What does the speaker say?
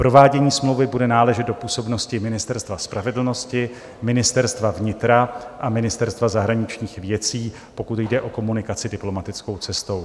Provádění smlouvy bude náležet do působnosti Ministerstva spravedlnosti, Ministerstva vnitra a Ministerstva zahraničních věcí, pokud jde o komunikaci diplomatickou cestou.